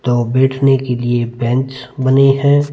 तो बैठ ने के लिए बेंच बनाई है।